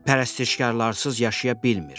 Pərəstişkarsız yaşaya bilmir.